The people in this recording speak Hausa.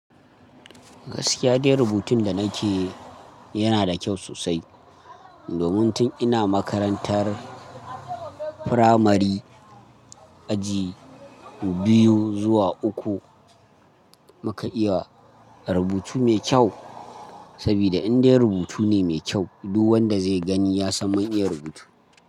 Gaskiya dai rubutun da nake yana da kyau sosai. Domin tun ina makarantar firamari aji biyu zuwa uku muka iya rubutu mai kyau. Saboda indai rubutu ne mai kyau, duk wanda zai gani ya san mun iya rubutu.